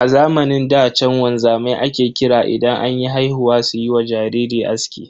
A zamanin da chan wanzamai ake kira idan anyi haihuwa suyiwa jariri aski.